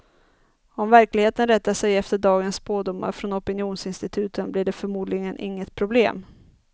Om verkligheten rättar sig efter dagens spådomar från opinionsinstituten, blir det förmodligen inget problem.